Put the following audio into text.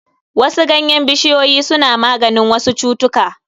Wasu ganyen bishiyoyi suna maganin wasu cutuka.